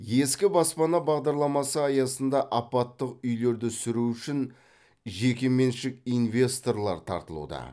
ескі баспана бағдарламасы аясында апаттық үйлерді сүру үшін жекеменшік инвесторлар тартылуда